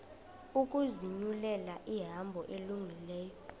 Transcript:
ukuzinyulela ihambo elungileyo